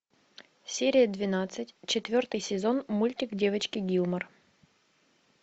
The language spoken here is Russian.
серия двенадцать четвертый сезон мультик девочки гилмор